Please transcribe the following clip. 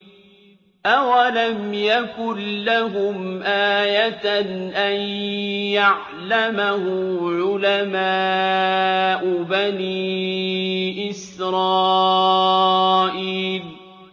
أَوَلَمْ يَكُن لَّهُمْ آيَةً أَن يَعْلَمَهُ عُلَمَاءُ بَنِي إِسْرَائِيلَ